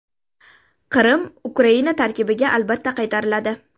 Qrim Ukraina tarkibiga albatta qaytariladi.